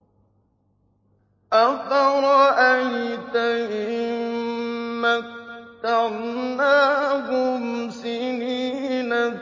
أَفَرَأَيْتَ إِن مَّتَّعْنَاهُمْ سِنِينَ